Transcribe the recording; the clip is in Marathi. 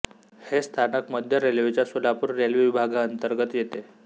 हे स्थानक मध्य रेल्वेच्या सोलापूर रेल्वे विभागांतर्गत येते